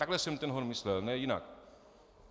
Takhle jsem ten hon myslel, ne jinak.